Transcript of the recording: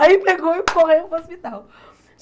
Aí pegou e correu para o hospital.